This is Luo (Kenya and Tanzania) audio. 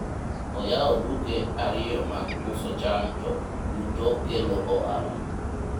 oyawo duke ariyo mag uso cham to duto kelo ohala